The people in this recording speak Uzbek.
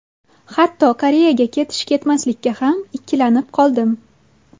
Hatto Koreyaga ketish-ketmaslikka ham ikkilanib qoldim.